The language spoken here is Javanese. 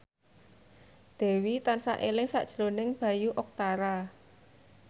Dewi tansah eling sakjroning Bayu Octara